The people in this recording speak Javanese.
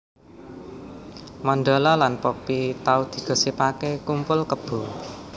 Mandala lan Poppy tau digosipake kumpul kebo